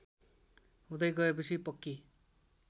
हुँदै गएपछि पक्की